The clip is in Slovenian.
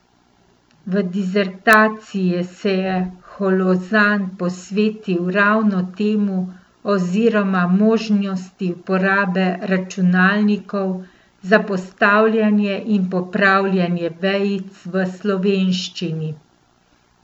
V disertaciji se je Holozan posvetil ravno temu oziroma možnosti uporabe računalnikov za postavljanje in popravljanje vejic v slovenščini.